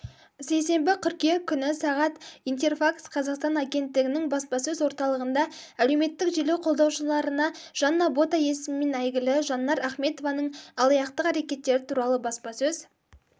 сейсенбі қыркүйек күні сағат интерфакс-қазақстан агенттігінің баспасөз орталығында әлеуметтік желі қолданушыларына жанна бота есімімен әйгілі жаннар ахметованың алаяқтық әрекеттері туралы баспасөз